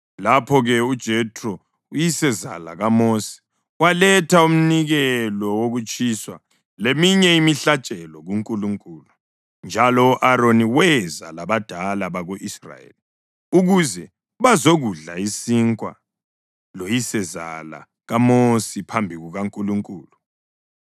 Lapho-ke uJethro, uyisezala kaMosi, waletha umnikelo wokutshiswa leminye imihlatshelo kuNkulunkulu, njalo u-Aroni weza labadala bako-Israyeli ukuze bazokudla isinkwa loyisezala kaMosi phambi kukaNkulunkulu.